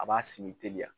A b'a sigi teliya